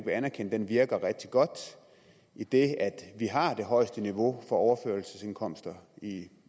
vil anerkende virker rigtig godt idet vi har det højeste niveau for overførselsindkomster i